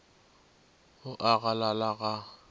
o a a galala ga